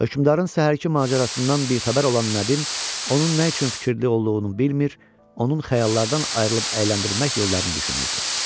Hökmdarın səhərki macərasından bixəbər olan Nədim, onun nə üçün fikirli olduğunu bilmir, onun xəyallarından ayırıb əyləndirmək yollarını düşünürdü.